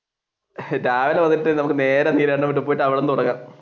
രാവിലെ വന്നിട്ട് നേരെ അവിടുന്ന് തുടങ്ങാം.